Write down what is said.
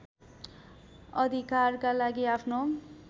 अधिकारका लागि आफ्नो